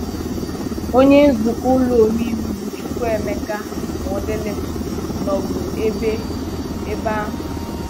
Onye nzukọ ụlọ ome iwu bụ Chukwuemeka Modilim nọbụ ebe ebe ahụ.